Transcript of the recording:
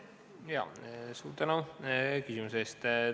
Suur tänu küsimuse eest!